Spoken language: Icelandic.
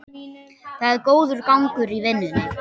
Það er góður gangur í vinnunni